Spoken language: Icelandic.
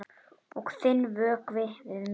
Og þinn vökvi við minn.